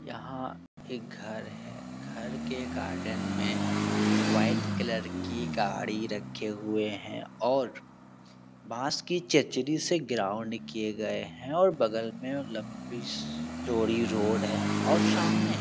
यहाँ एक घर है । घर के गार्डन में व्हाइट कलर की गाड़ी रखे हुए हैं और बांस की चचरी से ग्राउंड किये गए हैं और बगल में लम्बी चौड़ी रोड है और सामने --